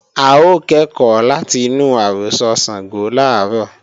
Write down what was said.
A ó kẹ́kọ̀ọ́ láti inú àrọ́sọ Ṣàngó làárọ̀